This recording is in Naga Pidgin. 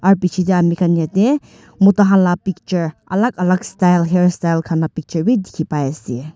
aro biche de amigan yete mota kan la picture alak alak style hairstyle kan la picture b diki pai ase.